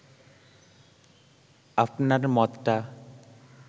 আপনার মতটা